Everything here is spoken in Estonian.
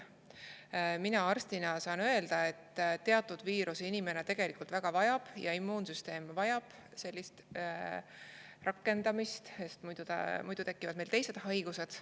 Mina arstina saan öelda, et teatud viirusi inimene tegelikult väga vajab ja immuunsüsteem vajab sellist rakendamist, sest muidu tekivad meil teised haigused.